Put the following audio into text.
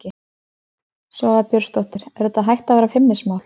Svava Björnsdóttir: Er þetta hætt að vera feimnismál?